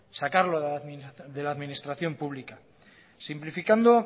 sacarlo de la administración pública simplificando